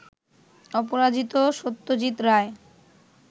অপরাজিত সত্যজিত রায়